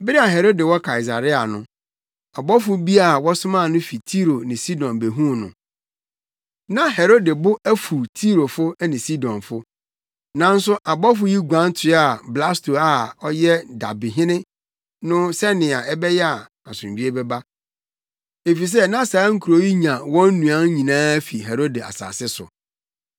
Bere a Herode wɔ Kaesarea no, abɔfo bi a wɔasoma wɔn fi Tiro ne Sidon behuu no. Na Herode bo afuw Tirofo ne Sidonfo. Nanso abɔfo yi guan toaa Blasto a na ɔyɛ dabehene no sɛnea ɛbɛyɛ a asomdwoe bɛba, efisɛ na saa nkurow yi nya wɔn nnuan nyinaa fi Herode asase so.